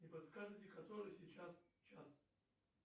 не подскажете который сейчас час